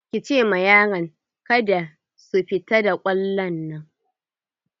Ki ce ma yaran kada su fito da kwallon nan!